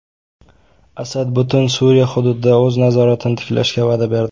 Asad butun Suriya hududida o‘z nazoratini tiklashga va’da berdi.